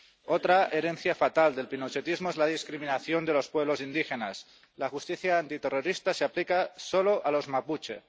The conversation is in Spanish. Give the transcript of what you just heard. Otra herencia fatal del pinochetismo es la discriminación de los pueblos indígenas la justicia antiterrorista se aplica solo a los mapuche.